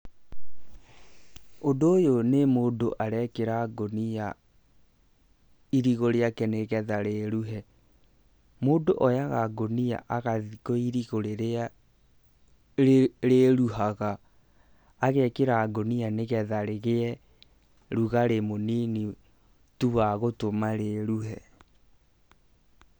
Ũndũ ũyũ nĩ mũndũ arekĩra ngũnia irigũ rĩake, nĩgetha rĩruhe. Mũndũ oyaga ngũnia, agathii kwĩ irigũ rĩrĩa rĩruhaga, agekĩra ngũnia, nĩgetha rĩgĩe rugarĩ mũnini tu wa gũtũma rĩruhe.